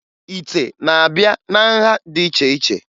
Ite na-abịa na nha dị iche iche